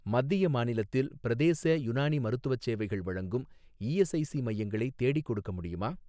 மத்திய மாநிலத்தில் பிரதேச யுனானி மருத்துவச் சேவைகள் வழங்கும் இஎஸ்ஐஸி மையங்களை தேடிக்கொடுக்க முடியுமா?